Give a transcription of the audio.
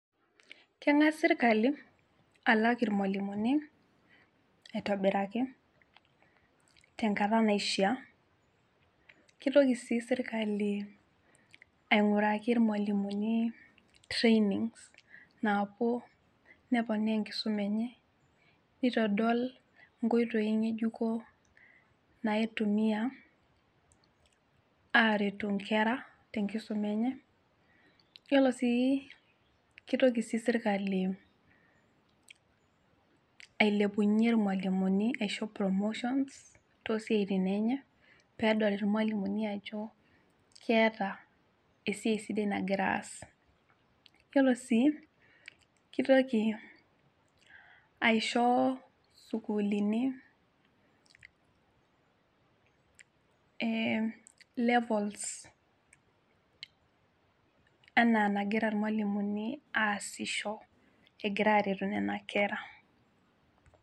Keng'as sirkali alak irmualimuni aitobiraki tenkata naishia kitoki sii sirkali aing'uaraki irmualimuni trainings naapuo neponaa enkisuma enye nitodol inkoitoi ng'ejuko naitumia aretu inkera tenkisuma enye yiolo sii kitoki sii sirkali ailepunyie irmualimuni aisho promotions tosiaitin enye peedol irmualimuni ajo keeta esiai sidai nagira aas yiolo sii kitoki aisho sukulini eh levels enaa enagira irmualimuni aasisho egira aretu nena kera.